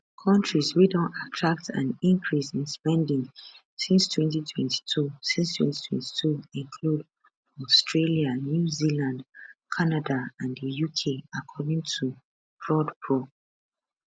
kontris wey don attract an increase in spending since 2022 since 2022 include australia new zealand canada and the uk according to prodpro